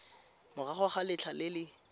morago ga letlha le le